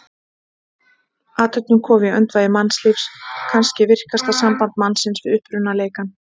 Athöfnin komin í öndvegi mannlífs, kannski virkasta samband mannsins við upprunaleikann.